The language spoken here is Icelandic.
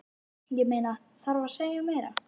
Ég meina, þarf að segja meira?